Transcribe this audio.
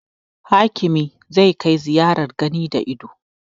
Hakimi za kai ziyarar gani da ido